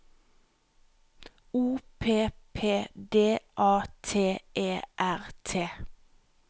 O P P D A T E R T